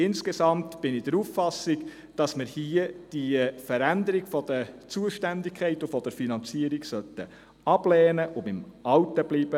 Insgesamt bin ich der Auffassung, wir sollten die Veränderung der Zuständigkeit und der Finanzierung ablehnen und beim Alten bleiben.